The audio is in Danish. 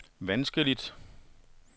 vanskeligt